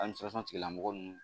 tigilamɔgɔ ninnu